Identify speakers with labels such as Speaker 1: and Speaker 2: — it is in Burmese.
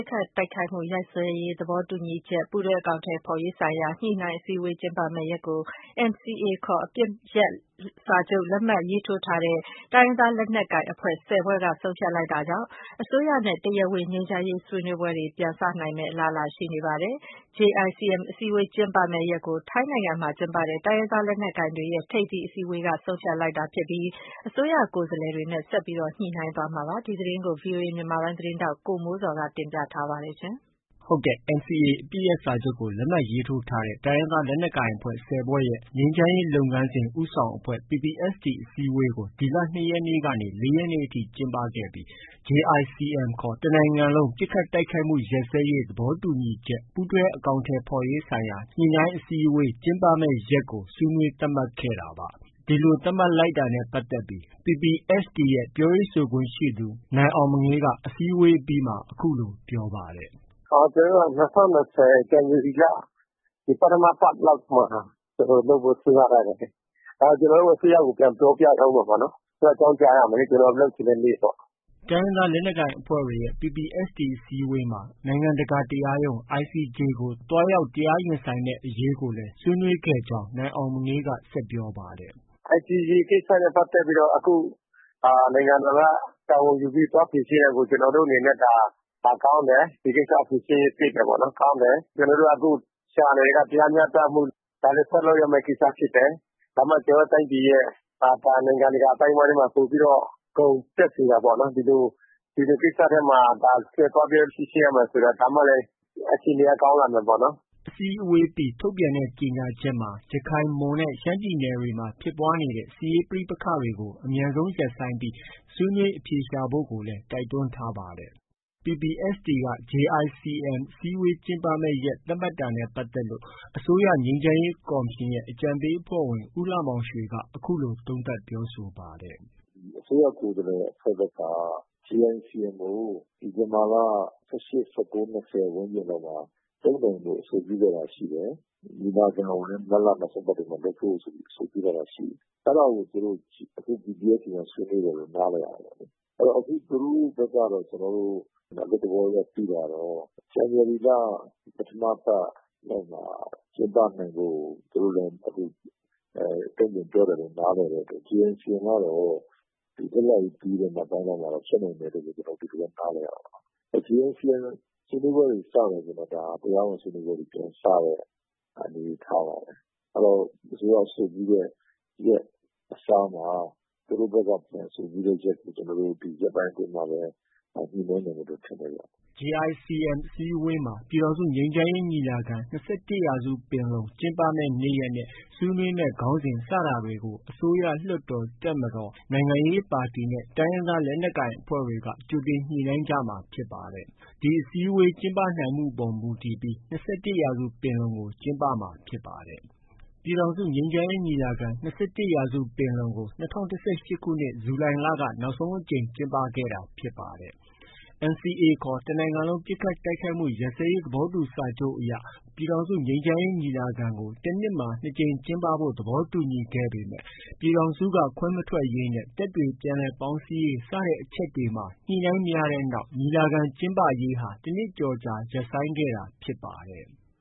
Speaker 1: စ်ခတ်တိုက်ခိုက်မှု ရပ်စဲရေး သဘောတူညီချက် ပူးတွဲ အကောင်အထည်ဖော်ရေးဆိုင်ရာ ညှိနှိုင်းအစည်းအဝေးကျင်းပမယ့် ရက်ကို NCA ခေါ် အပစ်ရပ်စာချုပ် လက်မှတ်ရေးထိုးထားတဲ့ တိုင်းရင်းသားလက်နက်ကိုင်အဖွဲ့ ၁၀ ဖွဲ့က ဆုံးဖြတ်လိုက်တာကြောင့် အစိုးရနဲ့ တရားဝင် ငြိမ်းချမ်းရေး ဆွေးနွေးပွဲတွေ ပြန်လည်စတင်နိုင်မယ့် အလားအလာ ရှိနေပါတယ်။ JICM အစည်းအဝေး ကျင်းပမယ့်ရက်ကို ထိုင်းနိုင်ငံမှာ ကျင်းပတဲ့ တိုင်းရင်းသား လက်နက်ကိုင်တွေရဲ့ ထိပ်သီး အစည်းအဝေးကနေ ဆုံးဖြတ်လိုက်တာဖြစ်ပြီး အစိုးရကိုယ်စားလှယ်တွေနဲ့ ဆက်လက်ညှိနှိုင်းသွားမှာ ဖြစ်ပါတယ်။ ဒီသတင်းကိုတော့ ဗွီအိုအေမြန်မာပိုင်းရဲ့ သတင်းထောက် ကိုမိုးဇော်က တင်ပြထားပါတယ်။
Speaker 2: NCA အပစ်ရပ် စာချုပ်လက်မှတ်ရေးထိုးထားတဲ့ တိုင်းရင်းသားလက်နက်ကိုင်အဖွဲ့ ၁၀ဖွဲ့တွေရဲ့ ငြိမ်းချမ်းရေးလုပ်ငန်းစဉ် ဦးဆောင်အဖွဲ့ PPST အစည်းအဝေးကို ဒီလ ၂ ရက်နေ့ကနေ ၄ ရက်နေ့အထိ ကျင်းပခဲ့ပြီး JICM ခေါ် တနိုင်ငံလုံး ပစ်ခတ်တိုက်ခိုက်မှု ရပ်စဲရေး သဘောတူညီချက် ပူးတွဲ အကောင်အထည်ဖော်ရေးဆိုင်ရာ ညှိနှိုင်းအစည်းအဝေး ကျင်းပမယ့် ရက်ကို ဆွေးနွေးသတ်မှတ်ခဲ့တာပါ။ ဒီလိုသတ်မှတ်လိုက်တာနဲ့ ပတ်သက်လို့ PPST အဖွဲ့ရဲ့ ပြောရေးဆိုခွင့်ရှိသူ နိုင်အောင်မငေးက အစည်းအဝေးအပြီးမှာ အခုလို ပြောကြားပါတယ်
Speaker 3: ။ “ကျနော်တို့က ၂၀၂၀ ဇန်နဝါရီလ ပထမပတ်လောက်မှာ လုပ်ဖို့ စဉ်းစားထားတယ်လေ။ ကျနော်တို့ အစိုးရကို ပြန်ပြောပြရအုံးမှာပေါ့လေ။ အကြောင်းကြားရမယ်လေ။ ကျနော်တို့ လုပ်ချင်တဲ့နေ့ပေါ့
Speaker 2: ။” တိုင်းရင်းသား လက်နက်ကိုင်အဖွဲ့တွေရဲ့ PPST အစည်းအဝေးမှာ အစိုးရက နိုင်ငံတကာတရားရုံး ICJ ကို သွားရောက် တရားရင်ဆိုင်မယ့်အရေးကိုလည်း ဆွေးနွေးခဲ့ကြောင်း နိုင်အောင်မငေးက ပြောပါတယ်
Speaker 3: ။ “ICJ ကိစ္စနဲ့ ပတ်သက်ပြီးတော့ အခု နိုင်ငံတော်က တာဝန်ယူပြီး သွားဖြေရှင်းတာကို ကျနော်တို့အနေနဲ့ ကောင်းတယ်။ ဒီကိစ္စဖြေရှင်းသင့်တယ်။ ကျနော်တို့က အခုရှာနေတာက တရားမျှတမှု၊ ဒါလည်း ဆက်လုပ်ရမယ့် ကိစ္စဖြစ်တယ်။ ဒါမှ ကျနော်တို့ တိုင်းပြည်ရဲ့ နိုင်ငံတကာအသိုင်းအဝိုင်းထဲမှာ ပိုပြီးတော့ ဂုဏ်တက်စေတာပေါ့နော်။ ဒီလို ကိစ္စထဲမှာ သွားပြီးတော့ ဖြေရှင်းရမယ်ဆိုတာ ဒါမှလည်း အခြေအနေက ကောင်းလာမယ်ပေါ့နော်။”
Speaker 2: PPST အစည်းအဝေးပြီး ထုတ်ပြန်တဲ့ ကြေညာချက်မှာ ရခိုင်၊ မွန်နဲ့ ရှမ်းပြည်နယ်တွေမှာ ဖြစ်ပွားနေတဲ့ စစ်ရေးပဋိပက္ခတွေကို အမြန်ဆုံးရပ်ဆိုင်းပြီး ဆွေးနွေးအဖြေရှာဖို့ကိုလည်း တိုက်တွန်းထားပါတယ်။ PPST က JICM အစည်းအဝေး ကျင်းပမယ့် ရက်သတ်မှတ်တာနဲ့ ပတ်သက်လို့ အစိုးရ ငြိမ်းချမ်းရေးကော်မရှင်ရဲ့ အကြံပေးအဖွဲ့ဝင် ဦးလှမောင်ရွှေက အခုလို သုံးသပ်ပြောဆိုပါ
Speaker 4: တယ်။ “အစိုးရ ကိုယ်စားလှယ်အဖွဲ့ဘက်က JICM ကို ဒီဇင်ဘာလ ၁၈-၁၉-၂၀လောက်မှာ လုပ်နိုင်ဖို့ အဆိုပြုထားတာရှိတယ်။ ညီလာခံကိုလည်း မတ်လ နောက်ဆုံးပတ်မှာ လုပ်ဖို့ အဆိုပြုထားတာရှိတယ်။ အဲဒါကို သူတို့ PPST မှာ ဆွေးနွေးတယ်လို့ နားလည်ရတာပေါ့လေ။ အဲဒါကို သူတို့ဘက်ကတော့ ကျနော်တို့ အလွတ်သဘောအရ သိတာကတော့ ဇန်နဝါရီလ ပထမပတ်လောက်မှာ ကျင်းပနိုင်ဖို့ သူတို့လည်း တုံပြန်ပြောတယ်လို့ နားလည်တဲ့အတွက် JICM ကတော့ လွတ်လပ်ရေးနေ့ ပြီးတဲ့နောက်ပိုင်းလောက်မှာ ဖြစ်နိုင်လိမ့်မယ်လို့ ဒီလိုပဲ နားလည်ရတာပေါ့နော်။ JICM ဆွေးနွေးပွဲတွေ စတယ်ဆိုရင်တော့ ဒါ တရားဝင်ဆွေးနွေးပွဲတွေ အနေအထားပါပဲ။ အဲတော့ အစိုးရအဆိုပြုတဲ့ရက် အစားမှာ သူတို့ဘက်က ပြန်အဆိုပြုတဲ့ရက်ကို ကျနော်တို့ ဒီရက်ပိုင်းအတွင်းမှာပဲ ညှိနှိုင်းနိုင်မယ်လို့ ထင်တယ်ဗျ
Speaker 2: ။” JICM အစည်းအဝေးမှာ ပြည်ထောင်စုငြိမ်းချမ်းရေး ညီလာခံ- ၂၁ရာစုပင်လုံ ကျင်းပမယ့်နေ့ရက်နဲ့ ဆွေးနွေးမယ့် ခေါင်းစဉ် စတာတွေကို အစိုးရ၊ လွှတ်တော်၊ တပ်မတော်၊ နိုင်ငံရေးပါတီ၊ တိုင်းရင်းသားလက်နက်ကိုင်အဖွဲ့တွေက ကြိုတင် ညှိနှိုင်းကြမှာလည်း ဖြစ်ပါတယ်။ ဒီအစည်းအဝေး ကျင်းပနိုင်မှုအပေါ် မူတည်ပြီး ၂၁ရာစုပင်လုံကို ကျင်းပမှာ ဖြစ်ပါတယ်။ ပြည်ထောင်စုငြိမ်းချမ်းရေး ညီလာခံ -၂၁ ရာစုပင်လုံကို ၂၀၁၈ ခုနှစ် ဇူလိုင်လက နောက်ဆုံးအကြိမ် ကျင်းပခဲ့တာ ဖြစ်ပါတယ်။ NCA ခေါ် တနိုင်ငံလုံး ပစ်ခတ်တိုက်ခိုက်မှု ရပ်စဲရေးသဘောတူ စာချုပ်အရ ပြည်ထောင်စုငြိမ်းချမ်းရေး ညီလာခံကို တနှစ်မှာ ၂ ကြိမ် ကျင်းပဖို့ သဘောတူညီခဲ့ပေမဲ့ ပြည်ထောင်စုက ခွဲမထွက်ရေးနဲ့ တပ်တွေ ပြန်လည်ပေါင်းစည်းရေး စတဲ့အချက်တွေမှာ ညှိနှိုင်းမရတဲ့နောက် ညီလာခံ ကျင်းပရေးဟာ တနှစ်ကျော် ရပ်ဆိုင်းခဲ့ရတာ ဖြစ်ပါတယ်။